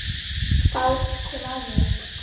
Það segir mamma hans.